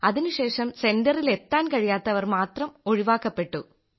അതിനുശേഷം സെന്ററിൽ എത്താൻ കഴിയാത്തവർ മാത്രം ഒഴിവാക്കപ്പെട്ടു